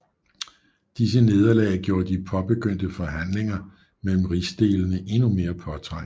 Disse nederlag gjorde de påbegyndte forhandlinger mellem rigsdelene endnu mere påtrængende